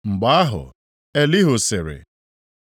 Mgbe ahụ, Elihu sịrị: